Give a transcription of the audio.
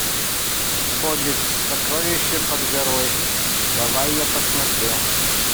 хоббит сокровища под горой давай я посмотрю